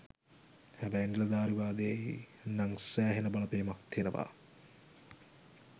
හැබැයි නිලධාරීවාදයෙ නං සෑහෙන බලපෑමක් තියනව.